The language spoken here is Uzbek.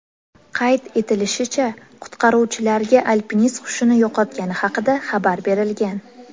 Qayd etilishicha, qutqaruvchilarga alpinist hushini yo‘qotgani haqida xabar berilgan.